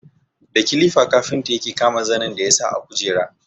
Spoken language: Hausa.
Da kilifa kafinta ya kama zanin da ya sa a kujera.